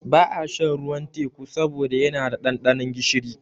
Ba a shan ruwan teƙu saboda yana da ɗanɗanon gishiri